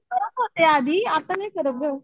करत होते आधी आता नाही करत गं.